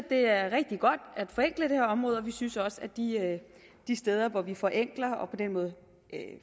er rigtig godt at forenkle det her område og vi synes også at de at de steder hvor vi forenkler og på den måde